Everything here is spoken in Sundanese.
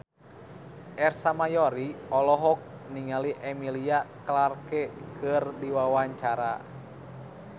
Ersa Mayori olohok ningali Emilia Clarke keur diwawancara